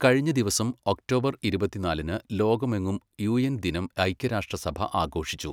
കഴിഞ്ഞദിവസം ഒക്ടോബർ ഇരുപത്തിനാലിന് ലോകമെങ്ങും യുഎൻ ദിനം, ഐക്യരാഷ്ട്രസഭ ആഘോഷിച്ചു.